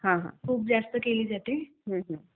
खूप जास्त केली जाते.